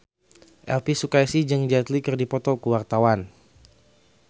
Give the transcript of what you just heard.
Elvi Sukaesih jeung Jet Li keur dipoto ku wartawan